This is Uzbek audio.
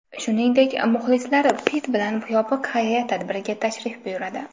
Shuningdek, muxlislar Pitt bilan yopiq xayriya tadbiriga tashrif buyuradi.